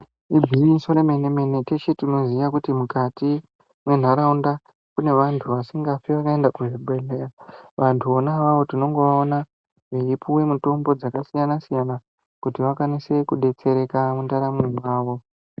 Igwinyiso remene-mene. Teshe tinoziya kuti mukati mwenharaunda kune vantu vasingafi vakaenda kuzvibhedhlera, vantu vona avavo tinongovaona veipuwa mitombo dzakasiyana-siyana kuti vakwanise kudetsereka mundaramo dzavo.